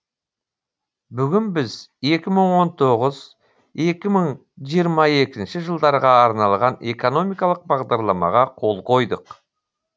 бүгін біз екі мың он тоғыз екі мың жиырма екінші жылдарға арналған экономикалық бағдарламаға қол қойдық